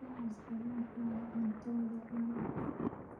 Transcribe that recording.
Tacos kalluunku waa cunto waddo caan ah.